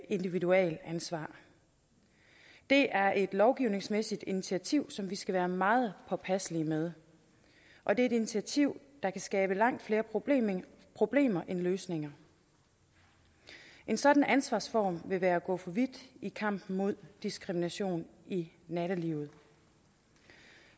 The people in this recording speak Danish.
individualansvar det er et lovgivningsmæssigt initiativ som vi skal være meget påpasselige med og det er et initiativ der kan skabe langt flere problemer problemer end løsninger en sådan ansvarsform vil være at gå for vidt i kampen mod diskrimination i nattelivet